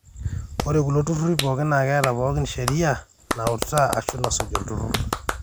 ore kulo turrurri pooki naa keeta pooki sheria nautaa aashu nasuj olturrur